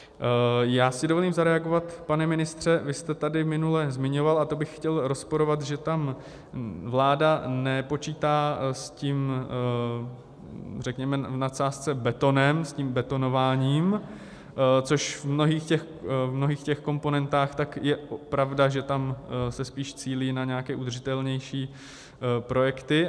Já si dovolím zareagovat, pane ministře, vy jste tady minule zmiňoval, a to bych chtěl rozporovat, že tam vláda nepočítá s tím, řekněme v nadsázce, betonem, s tím betonováním, což v mnohých těch komponentách, tak je pravda, že tam se spíš cílí na nějaké udržitelnější projekty.